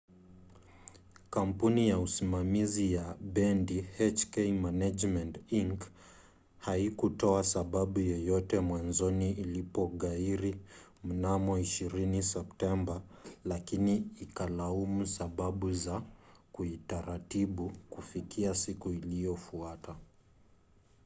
kampuni ya usimamizi wa bendi hk management inc. haikutoa sababu yoyote mwanzoni ilipoghairi mnamo 20 septemba lakini ikalaumu sababu za kiutaratibu kufikia siku iliyofuata